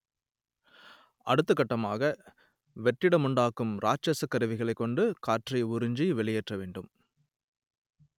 அடுத்தகட்டமாக வெற்றிடமுண்டாக்கும் இராட்சசக் கருவிகளைக் கொண்டு காற்றை உறிஞ்சி வெளியேற்ற வேண்டும்